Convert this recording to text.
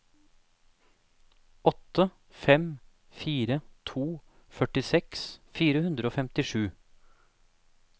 åtte fem fire to førtiseks fire hundre og femtisju